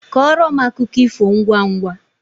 Kọọrọ akụkọ ifo ngwangwa